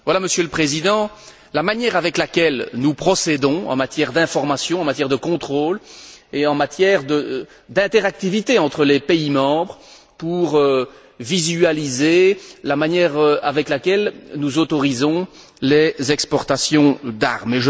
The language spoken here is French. Voilà, Monsieur le Président, la manière dont nous procédons en matière d'information, en matière de contrôle et en matière d'interactivité entre les pays membres pour visualiser la manière dont nous autorisons les exportations d'armes.